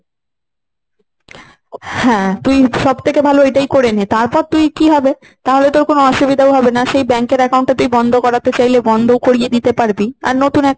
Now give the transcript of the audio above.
হ্যাঁ তুই সব থেকে ভালো ওটাই করে নে। তারপর তুই কি হবে তাহলে তোর কোন অসুবিধা হবে না। সেই bank এর account টা তুই বন্ধ করাতে চাইলে বন্ধ করে দিতে পারবি। আর নতুন একটা